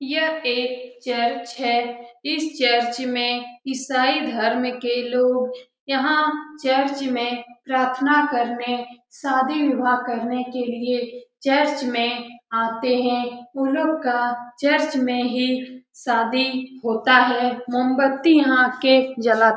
यह एक चर्च है इस चर्च में ईसाई धर्म के लोग यहाँ चर्च में प्रार्थना करने शादी विवाह करने के लिए चर्च मे आते है उ लोग का चर्च में ही शादी होता है मोमबत्ती यहाँ आ के जला--